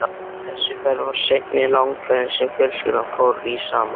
Þessi ferð var seinni langferðin sem fjölskyldan fór í saman.